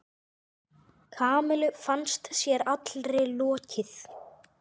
Kamillu fannst sér allri lokið.